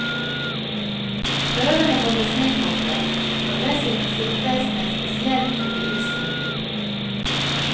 Prøvene holdes nedfrosset, og skal dessuten sikres med en spesiell type is inni.